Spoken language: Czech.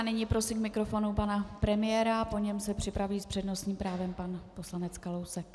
A nyní prosím k mikrofonu pana premiéra, po něm se připraví s přednostním právem pan poslanec Kalousek.